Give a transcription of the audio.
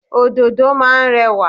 Ododo máa ń rẹwà.